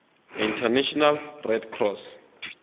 international red cross